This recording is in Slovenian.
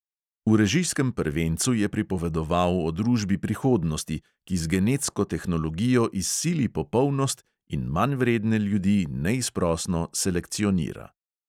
V režijskem prvencu je pripovedoval o družbi prihodnosti, ki z genetsko tehnologijo izsili popolnost in manjvredne ljudi neizprosno selekcionira.